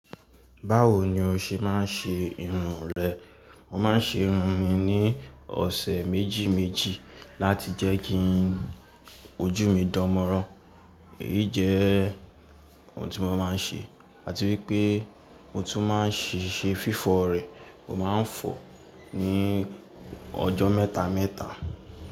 Báwo ni o ṣe máa ń ṣe irun rẹ? Mo maa n se irun mi ni ose meji meji lati je ki oju mi dan moran, eyii je ohun ti mo ma n se. Ati wipe, mo tun ma n se fifo re. Mo máa ń fọ ní ọjọ́ mẹ́ta mẹ́ta.